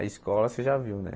A escola você já viu, né?